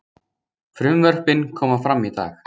Frumvörpin komi fram í dag